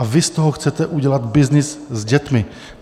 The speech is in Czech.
A vy z toho chcete udělat byznys s dětmi.